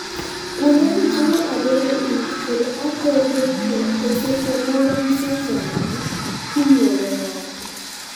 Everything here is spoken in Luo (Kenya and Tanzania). kuonde gi chalo adhonde ich kod adhondeto e seche moko gisechango kinyuolo ng'ato